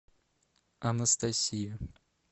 анастасия